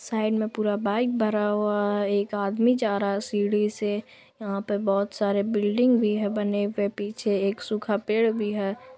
Side में पूरा bike भरा हुआ है| एक आदमी जा रहा है सीढ़ी से| यहाँ पे बहोत सारे बिल्डिंग भी बने हुए हैं | पीछे एक सूखा पेड़ भी है।